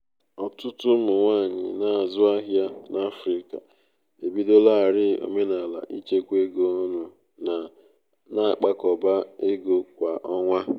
ọtụtụ ụmụ nwanyị na-azụ ahịa n'afrịka ebidolarii omenala ichekwa ego ọnụ na-akpakọba ego kwa ọnwa. ego kwa ọnwa.